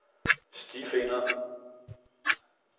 stifinder